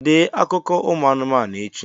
Dee akụkọ ụmụ anụmanụ echi!